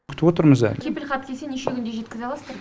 күтіп отырмыз әлі кепіл хат келсе неше күнде жеткізе аласыздар